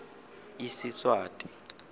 isiswati